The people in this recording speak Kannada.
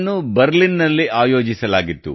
ಇದನ್ನು ಬರ್ಲಿನ್ ನಲ್ಲಿ ಆಯೋಜಿಸಲಾಗಿತ್ತು